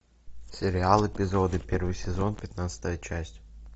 сериал эпизоды первый сезон пятнадцатая часть